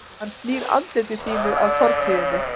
Hann snýr andliti sínu að fortíðinni.